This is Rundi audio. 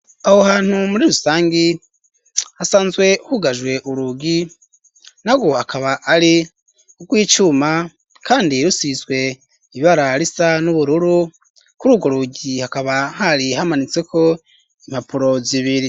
Aho hantu muri rusangi hasanzwe hugajwe urugi na rwo akaba ari rw'icuma kandi rusizwe ibara risa n'ubururu kuri ugo rugi hakaba hari hamanitseko impapuro zibiri.